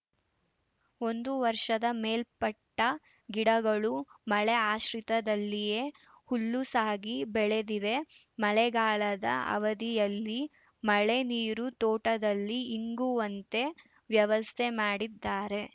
ಒಂದು ವರ್ಷದ ಮೇಲ್ಪಟ್ಟಗಿಡಗಳು ಮಳೆ ಆಶ್ರಿತದಲ್ಲಿಯೇ ಹುಲ್ಲುಸಾಗಿ ಬೆಳೆದಿವೆ ಮಳೆಗಾಲದ ಅವಧಿಯಲ್ಲಿ ಮಳೆ ನೀರು ತೋಟದಲ್ಲಿ ಇಂಗುವಂತೆ ವ್ಯವಸ್ಥೆ ಮಾಡಿದ್ದಾರೆ